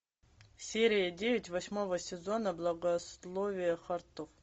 серия девять восьмого сезона благословите хартов